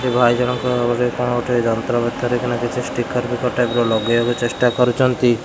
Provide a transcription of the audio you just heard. ଏ ଭାଇ ଜଣଙ୍କ ବୋଧେ କ'ଣ ଗୋଟେ ଯନ୍ତ୍ରପାତି ଧରି କିନା କିଛି ଷ୍ଟିକର ଫିକର ଟାଇପ୍ ର ଲଗାଇବାକୁ ଚେଷ୍ଟା କରୁଚନ୍ତି।